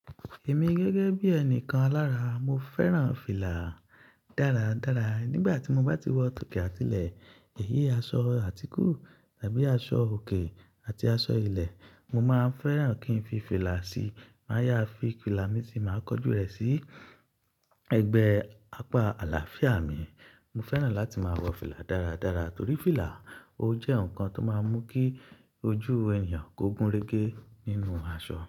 Èmi gẹ́gẹ́ bí ẹnìkan alára, mo fẹ́ràn fìlà dáradára. Nígbà tí mo bá ti wọ tòkè àtilẹ̀, èyí aṣọ àtíkù tàbí aṣọ òkè àti aṣọ ilẹ̀, mo máa fẹ́ràn kí n fi fìlà sí, máa yá fi fìlà mi sì máa kọ jú rẹ̀ sí ẹ̀gbẹ́ apá àlàáfíà mi. Mo fẹ́ràn láti máa wọ fìlà dáradára torí fìlà, ó jẹ́ nǹkan tó máa ń mú kí ojú ènìyàn kó gúnrégé nínú aṣọ.